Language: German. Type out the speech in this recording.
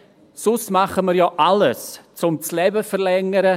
Sonst tun wir ja alles, um das Leben zu verlängern.